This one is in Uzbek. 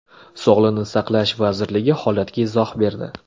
Sog‘liqni saqlash vazirligi holatga izoh berdi.